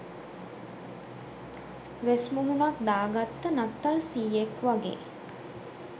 වෙස් මුහුනක් දා ගත්ත නත්තල් සීයෙක් වගේ